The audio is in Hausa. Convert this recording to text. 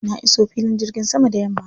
Na iso filin jirgin sama da yamma.